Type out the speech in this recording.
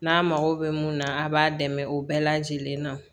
N'a mago bɛ mun na a b'a dɛmɛ o bɛɛ lajɛlen na